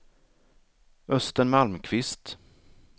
Östen Malmqvist